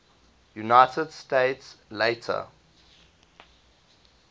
united states later